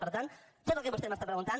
per tant tot el que vostè m’està preguntant